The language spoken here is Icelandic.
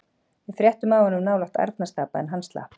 Við fréttum af honum nálægt Arnarstapa en hann slapp.